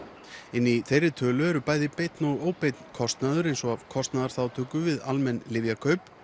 inni í þeirri tölu er bæði beinn og óbeinn kostnaður eins og af kostnaðarþátttöku við almenn lyfjakaup